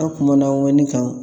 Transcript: An kumana ŋɔni kan